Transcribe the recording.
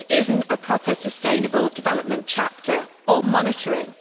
This is not a proper sustainable development chapter or monitoring.